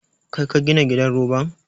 Kai ka gina gidan roban?